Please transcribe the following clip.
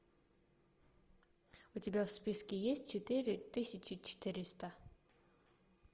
у тебя в списке есть четыре тысячи четыреста